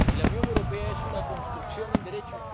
Y la Unión Europea es una construcción en Derecho.